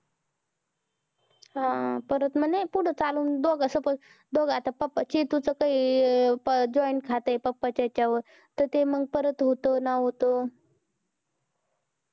हा परत म्हणे पुढं चालून दोघ suppose दोघ papa चेटु च काही joint खात आहे papa हेच वर परत होत ना होतं